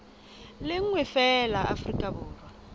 le nngwe feela afrika borwa